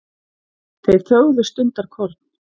Þeir þögðu stundarkorn.